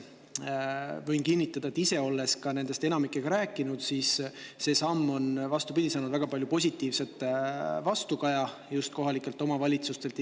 Võin kinnitada ise ka, olles nendest enamikuga rääkinud, et see samm on, vastupidi, saanud väga palju positiivset vastukaja kohalikelt omavalitsustelt.